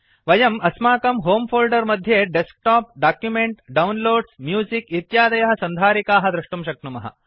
वयम् अस्माकं होमे फोल्डर मध्ये डेस्कटॉप डॉक्युमेंट डाउनलोड्स म्यूजिक इत्यादयः सन्धारिकाः दृष्टुं शक्नुमः